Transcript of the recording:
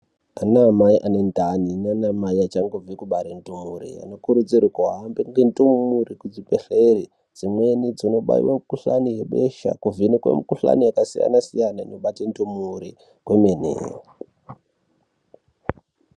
Ana amai ane ndani nana mai achangobve kubare ndore anokurudzirwe kuhambe ne ndore ku zvibhedhlere dzimweni dzinobaiwa mu kuhlani ye besha kuvhenekwe mu kuhlani yaka siyana siyana inobata ndumure kwemene.